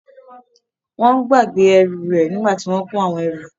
Wọ́n gbàgbé ẹrù rẹ̀ nígbà tí wọn kò àwọn ẹrù.